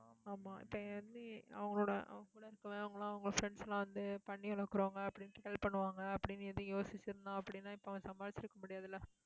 ஆமா, இப்ப அவங்களோட, அவங்க கூட இருக்கறவன், அவங்க எல்லாம் அவங்க friends எல்லாம் வந்து பன்னி வளர்க்கறவங்க அப்படின்னுட்டு கிண்டல் பண்ணுவாங்க அப்படின்னு எதுவும் யோசிச்சிருந்தா அப்படின்னா இப்ப அவன் சம்பாதிச்சிருக்க முடியாது இல்ல